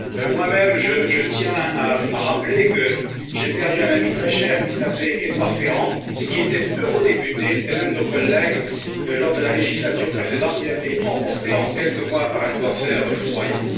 Moi même, je tiens à rappeler que j'ai perdu un ami très cher, qui s'appelait Édouard Ferrand et qui était eurodéputé. C'était l'un de nos collègues lors de la législature précédente il a été emporté en quelques mois par un cancer foudroyant.